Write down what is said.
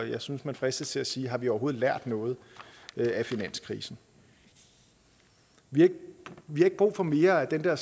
jeg synes man fristes til at sige har vi overhovedet lært noget af finanskrisen vi har ikke brug for mere af den der